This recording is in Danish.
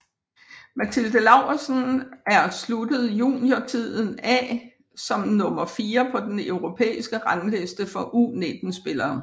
Mathilde Lauridsen er sluttet juniortiden af som nummer fire på den europæiske rangliste for U19 spillere